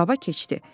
Baba keçdi.